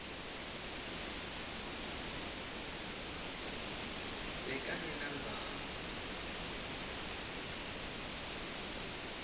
bekangenandzaba